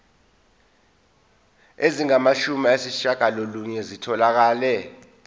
ezingamashumi ayishiyagalolunye zitholakele